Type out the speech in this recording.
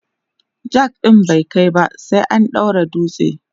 jack ɗin bai kaiba sai an daura dutse